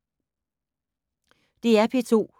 DR P2